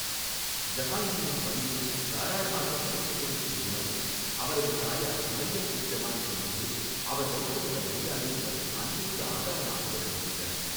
ஜஹாங்கீரின் பணிவும் தாராளமாகப் பரிசு கொடுக்கும் குணமமும் அவரது தாயார் மரியம் உஸ் ஜமானியின் மீது அவர் வைத்திருந்த மரியாதை மற்றும் அன்பிற்கு ஆதாரமாக விளங்குகின்றன.